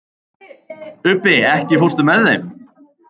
Ubbi, ekki fórstu með þeim?